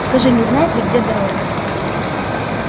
скажи не знает ли где дорога